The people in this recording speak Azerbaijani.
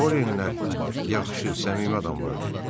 Orenlər yaxşı, səmimi adamlardır.